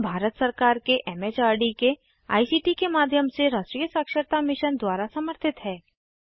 यह भारत सरकार के एमएचआरडी के आईसीटी के माध्यम से राष्ट्रीय साक्षरता मिशन द्वारा समर्थित है